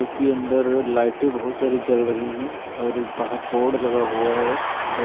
के अंदर लाइटें बहुत सारी जल रही हैं और बाहर बोर्ड लगा हुआ है।